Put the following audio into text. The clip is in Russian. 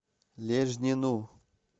лежнину